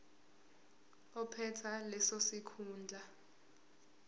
ophethe leso sikhundla